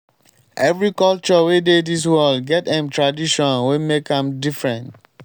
every culture wey dey dis world get em tradition wey make am different.